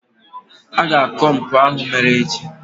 a ga-akọ mpụ ahụ mere echi